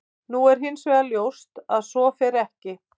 Nú er hins vegar ljóst að svo fer ekki.